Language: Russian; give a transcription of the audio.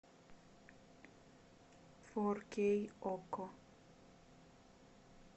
фор кей окко